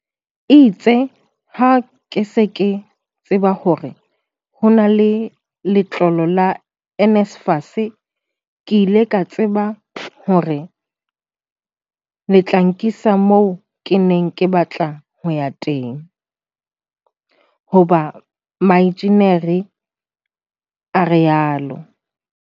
"Itse ha ke se ke tseba hore ho na le letlolo la NSFAS, ke ile ka tseba hore le tla nkisa moo ke neng ke batla ho ya teng - ho ba moenjenieri," o rialo.